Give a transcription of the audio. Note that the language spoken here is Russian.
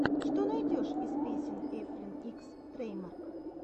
что найдешь из песен эфлин икс трэйдмарк